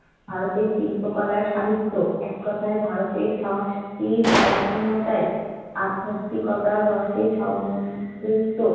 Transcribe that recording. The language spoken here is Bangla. ভারতের শিল্পকলা সাহিত্য এক কথায় ভারতের সংস্কৃতি সম্পূর্ণটাই আধ্যাত্মিকতার রসে সম্পৃক্ত